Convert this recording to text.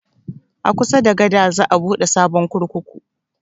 A kusa da gada za a buɗe sabon kurkuku